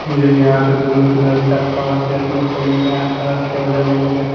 मुझे यहाँ पे ब्लू तो लड़ता फर्स्ट देखने को मिल रहा है फर्स्ट के बदले मुझे --